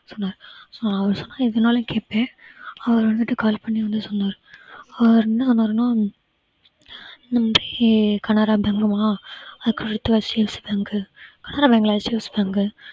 சொன்னாரு so அவரு சொன்னாரு எதுனாலும் கேட்பேன் அவரு வந்துட்டு call பண்ணி வந்து சொன்னாரு அவரு என்ன சொன்னாருன்னா இந்தமாதிரி canara bank அதுக்கடுத்து HDFC Bank உ canara bank இல்ல HDFCbank